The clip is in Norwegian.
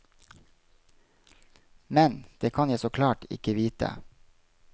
Men, det kan jeg så klart ikke vite.